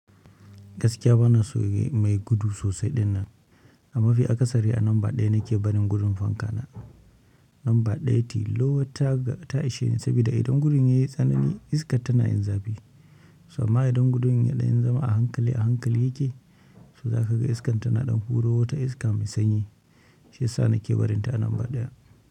Gaskiya bana so mai gudu sosai ɗinnan, mafi akasari a namba ɗaya nake barin gudun fanka na. Namba ɗaya tilo ta ishe ni saboda idan gudun yayi tsanani iskar tana yin zafi, amma idan gudun yayi ɗan zama a hankali a hankali yake, so za ka ga iskar tana ɗan huro wata iska mai sanyi. Shi ya sa nake barinta a namba ɗaya.